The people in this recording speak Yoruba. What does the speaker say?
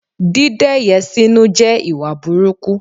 Dídẹ́yẹ̀ síni jẹ́ ìwà burúkú